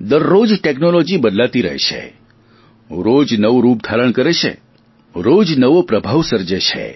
દરરોજ ટેકનોલોજી બદલાતી રહે છે રોજ નવું રૂપ ધારણ કરે છે રોજ નવો પ્રભાવ સર્જે છે